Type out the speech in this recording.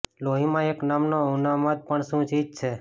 લોહીમાં એક નામનો ઉન્માદ પણ શું ચીજ છે